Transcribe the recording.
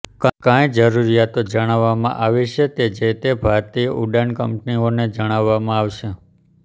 કંઈ જરૃરિયાતો જણાવવામાં આવી છે તે જે તે ભારતીય ઉડાન કંપનીઓને જણાવવામાં આવશે